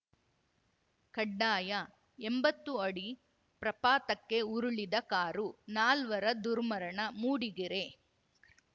ಕಡ್ಡಾಯ ಎಂಬತ್ತು ಅಡಿ ಪ್ರಪಾತಕ್ಕೆ ಉರುಳಿದ ಕಾರು ನಾಲ್ವರ ದುರ್ಮರಣ ಮೂಡಿಗೆರೆ